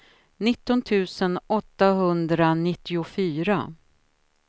nitton tusen åttahundranittiofyra